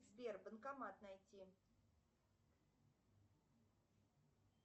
сбер банкомат найти